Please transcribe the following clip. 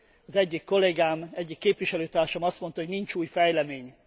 Az egyik kollégám, egyik képviselőtársam azt mondta, hogy nincs új fejlemény.